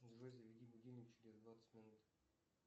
джой заведи будильник через двадцать минут